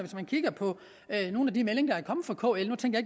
man kigger på nogle af de meldinger der er kommet fra kl nu tænker